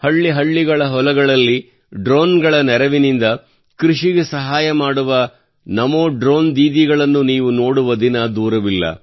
ಪ್ರತಿ ಹಳ್ಳಿಯ ಹೊಲಗಳಲ್ಲಿ ಡ್ರೋನ್ಗಳ ನೆರವಿನಿಂದ ಕೃಷಿಗೆ ಸಹಾಯ ಮಾಡುವ ನಮೋ ಡ್ರೋನ್ ದೀದಿಗಳನ್ನು ನೀವು ನೋಡುವ ದಿನ ದೂರವಿಲ್ಲ